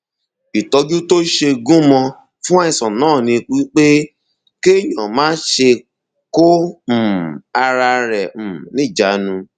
ìtọjú tó ṣe gúnmọ fún àìsàn náà ni pé kéèyàn máṣe kó um ara rẹ um níjàánu